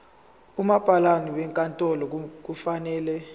umabhalane wenkantolo kufanele